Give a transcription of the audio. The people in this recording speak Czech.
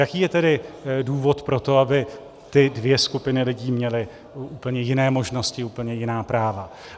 Jaký je tedy důvod pro to, aby ty dvě skupiny lidí měly úplně jiné možnosti, úplně jiná práva.